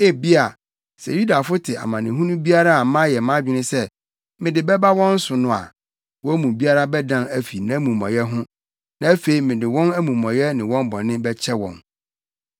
Ebia, sɛ Yudafo te amanehunu biara a mayɛ mʼadwene sɛ mede bɛba wɔn so no a, wɔn mu biara bɛdan afi nʼamumɔyɛ ho na afei mede wɔn amumɔyɛ ne wɔn bɔne bɛkyɛ wɔn.”